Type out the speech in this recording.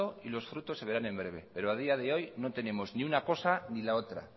y los frutos se verán en breve pero a día de hoy no tenemos una cosa ni la otra